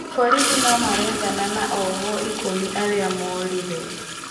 Borithi no marethana na ohwo ikũmi arĩa morire